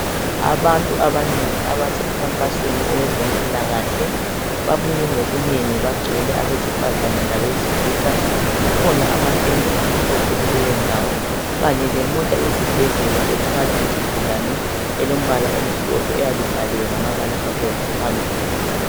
Abantu abanengi abasemkhankasweni owezempilakahle. Babuye ngobunengi. Bagcwele abesifazana labesilisa. Kukhona amatende amhlophe kuleyondawo. Kanye lemota yesibhedlela, ethwala izigulane. Eyabe ibhaliwe ngamabala amhlophe phambili.